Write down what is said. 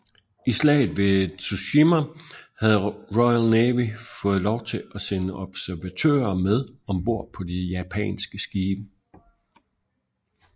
I slaget ved Tsushima havde Royal Navy fået lov til at sende observatører med om bord på de japanske skibe